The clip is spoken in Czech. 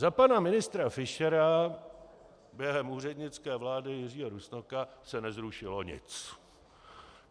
Za pana ministra Fischera během úřednické vlády Jiřího Rusnoka se nezrušilo nic.